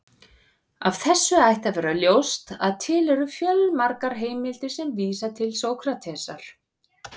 Af þessu ætti að vera ljóst að til eru fjölmargar heimildir sem vísa til Sókratesar.